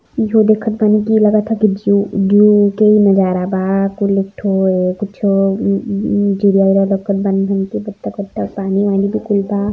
इहो देखा बानी की लगत ह कि जो ज़ू वू के ही नजारा बा कूल एक ठो कुछों लौकत बनी बत्तख वतख पानी वानी भी कुल बा |